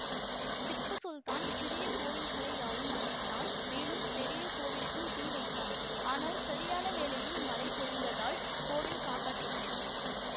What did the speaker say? திப்பு சுல்தான் சிறிய கோவில்களை யாவும் அழித்தான் மேலும் பெரிய கோவிலுக்கும் தீ வைத்தான் ஆனால் சரியான வேளையில் மழை பொழிந்ததால் கோவில் காப்பாற்றப்பட்டது